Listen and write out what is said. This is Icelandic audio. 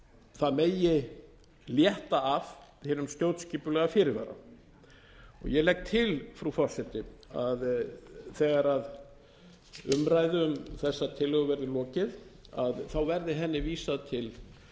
það megi létta af hinum stjórnskipulega fyrirvara ég legg til frú forseti að þegar umræðu um þessa tillögu verður lokið verði henni vísað til